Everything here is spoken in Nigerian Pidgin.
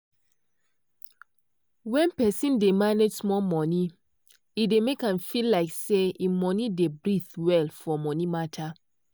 when person dey manage small monie e dey make am feel like say im no dey breathe well for monie matter.